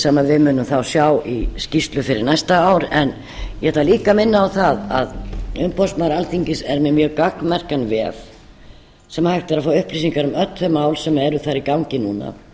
sem við munum sjá í skýrslu fyrir næsta ár en ég ætla líka minna á það að umboðsmaður alþingis er með mjög gagnmerkan vef þar sem hægt er að fá upplýsingar um öll þau mál sem eru þar í gangi núna